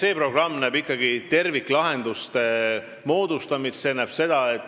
Ei, programm näeb ette ikkagi terviklahenduste moodustamise.